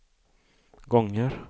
gånger